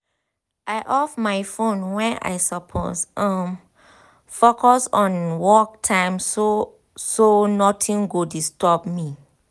i off my phone wen i suppose um focus on work time so so nothing go disturb me